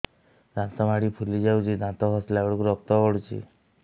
ଦାନ୍ତ ମାଢ଼ୀ ଫୁଲି ଯାଉଛି ଦାନ୍ତ ଘଷିଲା ବେଳକୁ ରକ୍ତ ଗଳୁଛି